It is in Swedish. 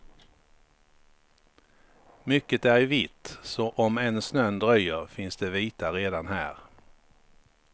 Mycket är i vitt, så om än snön dröjer finns det vita redan här.